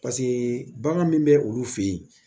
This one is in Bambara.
Paseke bagan min bɛ olu fɛ yen